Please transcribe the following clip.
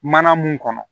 Mana mun kɔnɔ